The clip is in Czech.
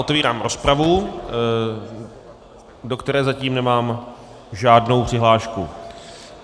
Otevírám rozpravu, do které zatím nemám žádnou přihlášku.